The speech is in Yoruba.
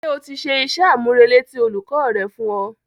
Ṣé o ti ṣe iṣẹ́-àmúrelé tí olùkọ́ rẹ fún ọ?